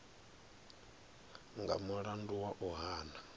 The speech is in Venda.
nga mulandu wa u hana